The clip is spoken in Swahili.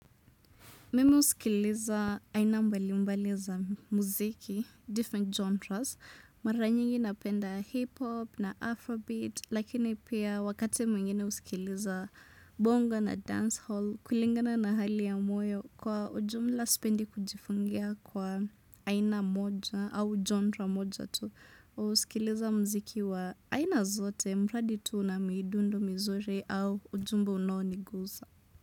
Mimi husikiliza aina mbali mbaliza muziki different genres mara nyingi napenda hip hop na afro beat lakini pia wakate mwingine husikileza bongo na dance hall kulingana na hali ya moyo kwa ujumla spendi kujifungia kwa aina moja au genre moja tu husikileza mziki wa aina zote mradi tu na midundo mizuri au ujumbe unoniguza.